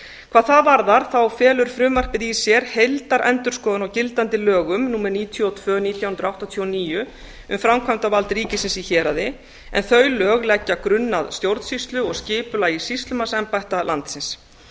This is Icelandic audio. hvað það varðar felur frumvarpið í sér heildarendurskoðun á gildandi lögum númer níutíu og tvö nítján hundruð áttatíu og níu um framkvæmdarvald ríkisins í héraði en þau lög leggja grunn að stjórnsýslu og skipulagi sýslumannsembætta landsins